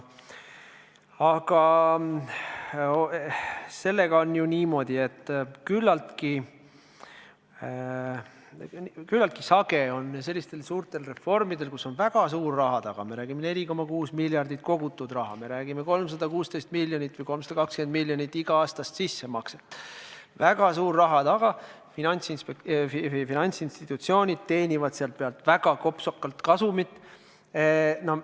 Aga sellega on niimoodi, et küllaltki sage on selliste suurte reformide puhul, kus on väga suur raha taga – me räägime, et 4,6 miljardit on kogutud raha, me räägime 316 miljonist või 320 miljonist iga-aastasest sissemaksest –, et finantsinstitutsioonid teenivad selle pealt väga kopsakalt kasumit.